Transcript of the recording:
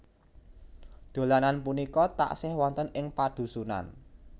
Dolanan punika taksih wonten ing padhusunan